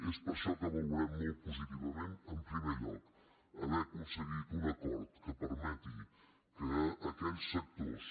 és per això que valorem molt positivament en primer lloc haver aconseguit un acord que permeti que aquells sectors